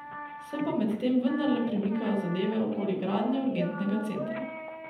Se pa medtem vendarle premikajo zadeve okoli gradnje urgentnega centra.